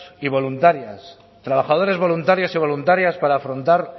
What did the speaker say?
y voluntarias trabajadores voluntarios y voluntarias para afrontar